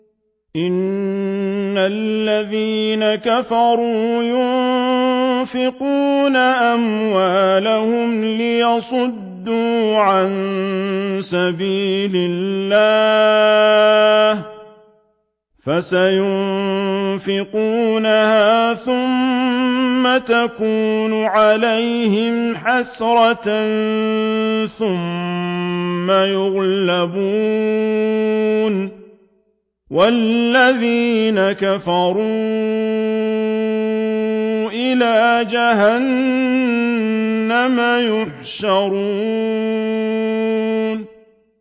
إِنَّ الَّذِينَ كَفَرُوا يُنفِقُونَ أَمْوَالَهُمْ لِيَصُدُّوا عَن سَبِيلِ اللَّهِ ۚ فَسَيُنفِقُونَهَا ثُمَّ تَكُونُ عَلَيْهِمْ حَسْرَةً ثُمَّ يُغْلَبُونَ ۗ وَالَّذِينَ كَفَرُوا إِلَىٰ جَهَنَّمَ يُحْشَرُونَ